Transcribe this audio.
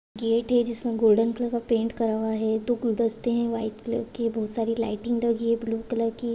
Gate है जिसमे golden colour का पेंट करा हुआ है दो गुलदस्ते है व्हाइट कलर के बहुत सारी लाइटिंग लगी है ब्लू कलर की।